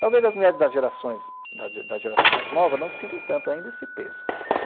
Talvez as mulheres da gerações, da da geração mais nova não sintam tanto ainda esse peso.